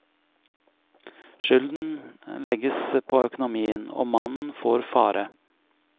Skylden legges på økonomien, og mannen får fare.